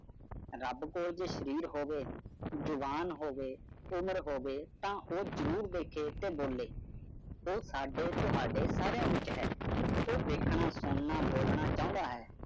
Rub ਕੋਲ ਜੇ ਸ਼ਰੀਰ ਹੋਵੇ ਜੁਬਾਨ ਹੋਵੇ, ਉਮਰ ਹੋਵੇ ਤਾ ਉਹ ਜਰੂਰ ਦੇਖੇ ਤੇ ਬੋਲੇ। ਉਹ ਸਾਡੇ ਤਵਾੜੇ ਸਾਰੀਆਂ ਵਿਚ ਹੈ। ਉਹ ਦੇਖਣਾ, ਸੁਨਣਾ, ਬੋਲਣਾ ਚਾਉਂਦਾ ਹੈ।